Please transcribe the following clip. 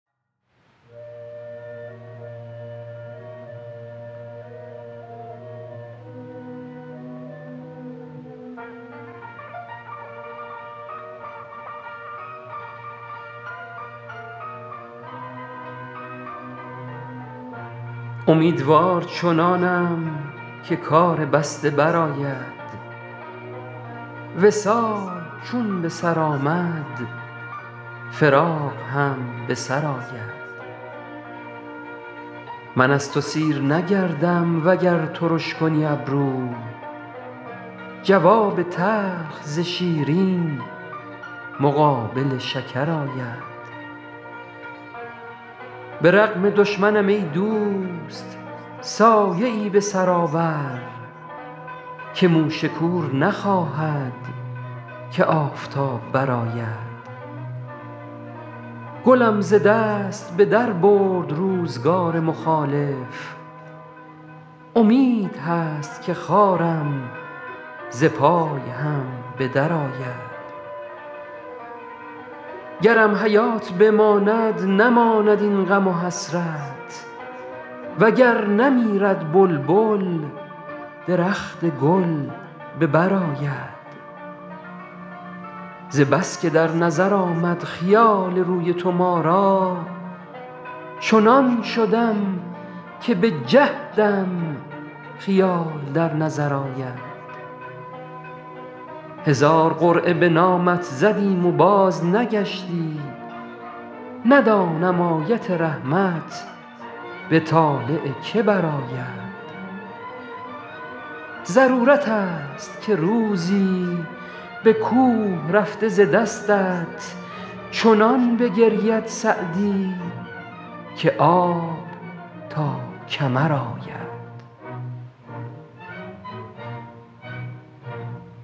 امیدوار چنانم که کار بسته برآید وصال چون به سر آمد فراق هم به سر آید من از تو سیر نگردم وگر ترش کنی ابرو جواب تلخ ز شیرین مقابل شکر آید به رغم دشمنم ای دوست سایه ای به سر آور که موش کور نخواهد که آفتاب برآید گلم ز دست به در برد روزگار مخالف امید هست که خارم ز پای هم به درآید گرم حیات بماند نماند این غم و حسرت و گر نمیرد بلبل درخت گل به بر آید ز بس که در نظر آمد خیال روی تو ما را چنان شدم که به جهدم خیال در نظر آید هزار قرعه به نامت زدیم و بازنگشتی ندانم آیت رحمت به طالع که برآید ضرورت ست که روزی به کوه رفته ز دستت چنان بگرید سعدی که آب تا کمر آید